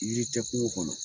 Yiri tɛ kungo kɔnɔ